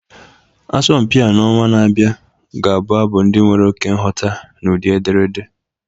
Asọmpi a n'ọnwa na-abịa ga-abụ abụ ndị nwere oke nghọta n'ụdị ederede